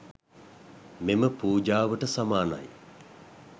මෙම පූජාවට සමානයි.